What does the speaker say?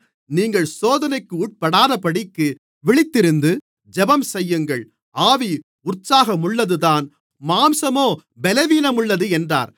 நீங்கள் சோதனைக்குட்படாதபடிக்கு விழித்திருந்து ஜெபம்செய்யுங்கள் ஆவி உற்சாகமுள்ளதுதான் மாம்சமோ பலவீனமுள்ளது என்றார்